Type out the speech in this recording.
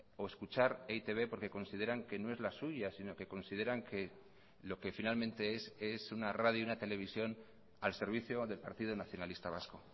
o escuchar e i te be porque consideran que no es la suya sino que consideran que lo que finalmente es es una radio una televisión al servicio del partido nacionalista vasco